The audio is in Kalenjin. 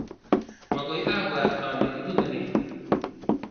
magoi abuat ale ibune nee